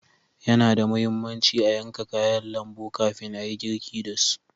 Yana da muhimmanci a yanka kayan lambu kafin ayi girki dasu.